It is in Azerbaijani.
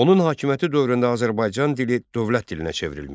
Onun hakimiyyəti dövründə Azərbaycan dili dövlət dilinə çevrilmişdi.